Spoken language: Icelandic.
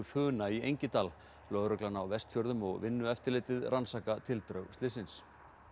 Funa í Engidal lögreglan á Vestfjörðum og Vinnueftirlitið rannsaka tildrög slyssins